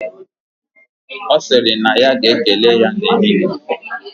Osiri na ya ga ekele ya na ehihe